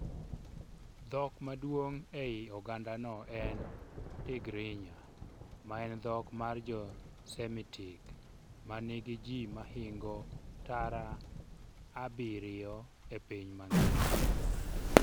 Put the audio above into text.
Dhok maduong' ei ogandano en Tigrinya, maen dhok mar Jo Semitic ma nigi ji mahingo milion abiro e piny mangima.